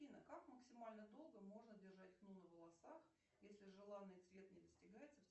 афина как максимально долго можно держать хну на волосах если желанный цвет не достигается